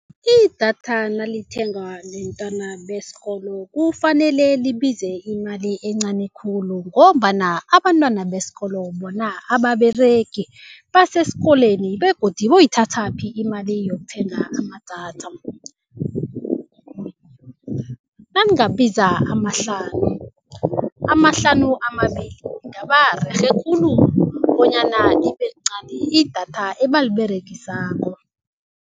Idatha nalithengwa bentwana besikolo kufanele libize imali encani khulu ngombana abantwana besikolo bona ababeregi basesikolweni begodu boyithathaphi imali yokuthenga amadatha. Nangabiza amahlanu, amahlanu amabili kungaba rerhe khulu bonyana libelincani idatha abaliberegisako.